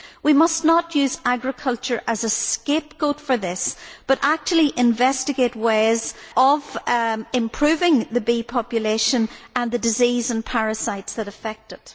we must not use agriculture as a scapegoat for this, but actually investigate ways of improving the bee population and the disease and parasites that affect it.